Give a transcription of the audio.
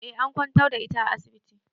Eh an kwantar da ita a asibiti.